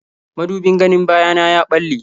Mudubin ganin baya na ya ɓalle.